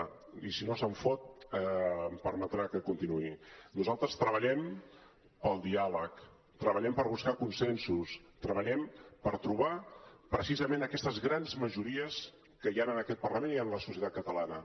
i si no se’n fot em permetrà que continuï nosaltres treballem pel diàleg treballem per buscar consensos treballem per trobar precisament aquestes grans majories que hi han en aquest parlament i en la societat catalana